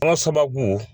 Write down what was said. An ka sababu